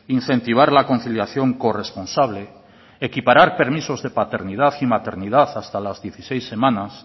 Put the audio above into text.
incentivar la conciliación corresponsable equiparar permisos de paternidad y maternidad hasta las dieciséis semanas